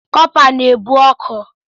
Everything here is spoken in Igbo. Kọpa na-ebu ọkụ.